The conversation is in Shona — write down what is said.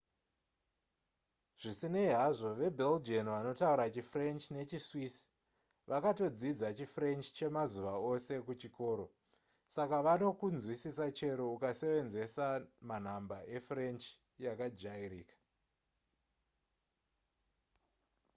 zvisinei hazvo vabelgian vanotaura chifrench nechiswiss vakatodzidza chifrench chemazuva ose kuchikoro saka vanokunzwisisa chero ukasevenzesa manhamba efrench yakajairika